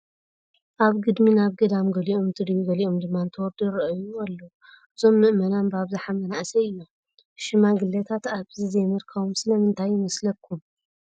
ኣብ ግድሚ ናብ ገዳም ገሊኦም እንትድይቡ ገሊኦም ድማ እንትወርዱ ይርአዩ ኣለዉ፡፡ እዞም ምእመናን ብኣብዝሓ መናእሰይ እዮም፡፡ ሽግለታት ኣብዚ ዘይምርካቦም ስለምንታይ ይመስለኩም?